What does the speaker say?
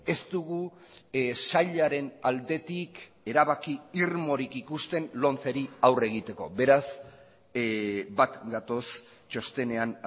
ez dugu sailaren aldetik erabaki irmorik ikusten lomceri aurre egiteko beraz bat gatoz txostenean